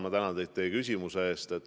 Ma tänan teid teie küsimuse eest!